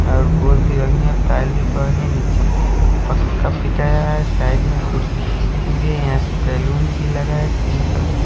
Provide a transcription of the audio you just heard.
अ gold भी है पायल भी पहनी है निचे बैलून भी लगाए है पिंक कलर क--.